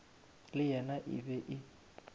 le yena e be e